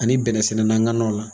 Ani bɛnɛ sɛnɛ na ŋananw la.